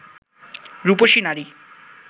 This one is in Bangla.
রুপসী নারী